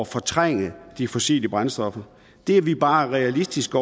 fortrænge de fossile brændstoffer det er vi bare realistiske